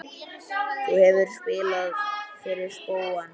Þú hefur spilað fyrir spóann?